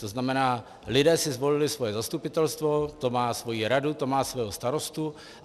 To znamená, lidé si zvolili svoje zastupitelstvo, to má svoji radu, to má svého starostu.